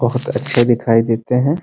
बहुत अच्छे दिखाई देते हैं ।